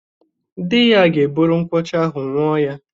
Di ya ga-ebure nkwụ ọcha ahụ ńụọ ya.